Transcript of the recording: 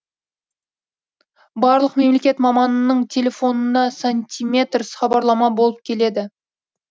барлық мемлекет маманының телефонына сантиметрс хабарлама болып келеді